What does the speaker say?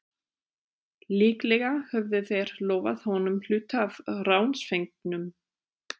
Líklega höfðu þeir lofað honum hluta af ránsfengnum.